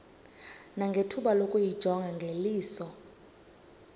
nangethuba lokuyijonga ngeliso